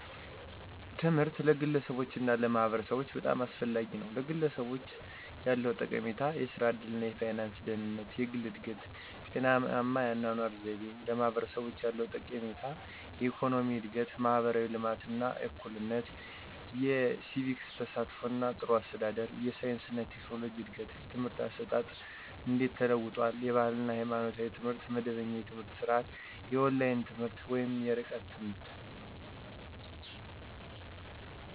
ትምህርት ለግለሰቦች እና ለማህበረሰቦች በጣም አስፈላጊ ነው፤ #ለግለሰቦች ያለው ጠቀሜታ -* የሥራ ዕድል እና የፋይናንስ ደህንነት: * የግል እድገት: * ጤናማ የአኗኗር ዘይቤ: #ለማህበረሰቦች ያለው ጠቀሜታ -* የኢኮኖሚ እድገት: * ማህበራዊ ልማት እና እኩልነት: * የሲቪክ ተሳትፎ እና ጥሩ አስተዳደር: * የሳይንስ እና ቴክኖሎጂ እድገት: #የትምህርት አሰጣጥ እንዴት ተለውጧል? * የባህል እና ሃይማኖታዊ ትምህርት * መደበኛ የትምህርት ስርዓት * የኦንላይን ትምህርት *የርቀት ትምህርት.....